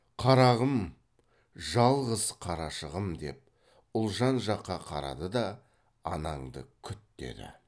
қарағым жалғыз қарашығым деп ұлжан жаққа қарады да анаңды күт деді